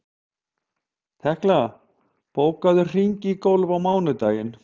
Tekla, bókaðu hring í golf á mánudaginn.